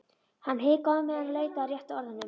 Hann hikaði á meðan hann leitaði að réttu orðunum.